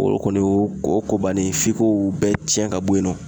O kɔni ko o y'o ko bannen ye f'i ko bɛɛ tiɲɛ ka bɔ yen nɔ